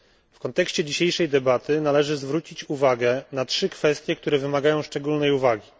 W kontekście dzisiejszej debaty należy zwrócić uwagę na trzy kwestie, które wymagają szczególnej uwagi.